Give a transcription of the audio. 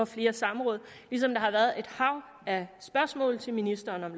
flere samråd ligesom der har været et hav af spørgsmål til ministeren om